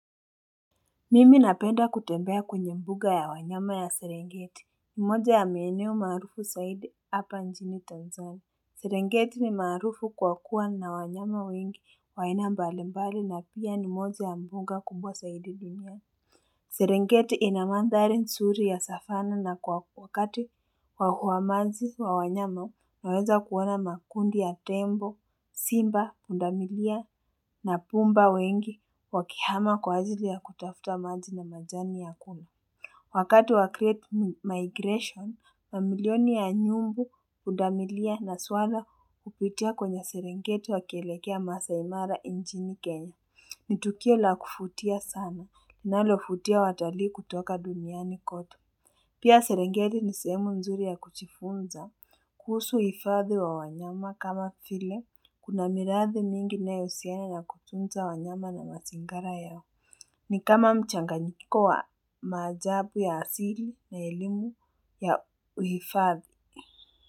Mimi napenda kutembea kwenye mbuga ya wanyama ya serengeti. Mmoja ya maeneo maarufu zaidi hapa njini Tanzania. Serengeti ni maarufu kwa kuwa na wanyama wengi wa aina mbali mbali na pia ni moja ya mbuga kubwa zaidi duniani Serengeti ina mandari nzuri ya savana na kwa wakati wa uamaji ya mwanyama unaweza kuona makundi ya tembo, simba, pundamilia na punda wengi wakihama kwa ajili ya kutafuta maji na majani ya kula. Wakati wa create migration, mamilioni ya nyumbu pundamilia na swala hupitia kwenye serengeti wakielekea masaai mara injini kenya. Nitukio la kuvutia sana linalovutia watalii kutoka duniani kote Pia serengeti nisehemu nzuri ya kuchifunza. Kuhusu uifadhi wa wanyama kama vile. Kuna miradhi mingi inayohusiana na kutunza wanyama na mazingara yao. Ni kama mchanganyiko wa maajabu ya asili na elimu ya uhifadhi.